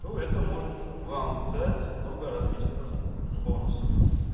то это может вам дать много различных бонусов